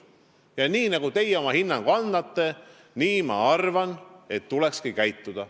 Selle hinnangu kohaselt, nagu teie annate, ma arvan, tulekski käituda.